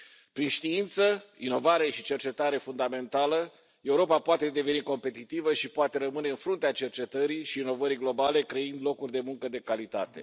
Prin știință, inovare și cercetare fundamentală, Europa poate deveni competitivă și poate rămâne în fruntea cercetării și inovării globale, creând locuri de muncă de calitate.